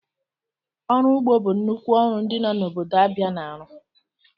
Ọrụ ụgbọ bụ nnukwu ọrụ ndị nọ n'obodo Abia na-arụ.